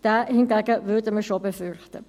Diesen hingegen würden wir schon fürchten.